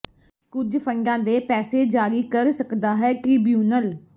ਕੁਝ ਫੰਡਾਂ ਦੇ ਪੈਸੇ ਜਾਰੀ ਕਰ ਸਕਦਾ ਹੈ ਟ੍ਰਿਬਿਊਨਲ